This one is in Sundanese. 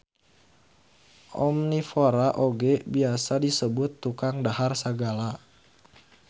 Omnivora oge biasa disebut tukang dahar sagala.